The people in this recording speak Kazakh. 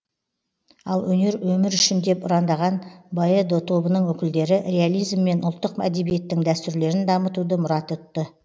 ал өнер өмір үшін деп ұрандаған боэдо тобының өкілдері реализм мен ұлттық әдебиеттің дәстүрлерін дамытуды мұрат тұтты